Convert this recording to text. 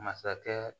Masakɛ